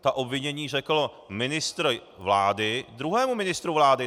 Ta obvinění řekl ministr vlády druhému ministru vlády!